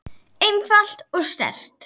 einfalt og sterkt.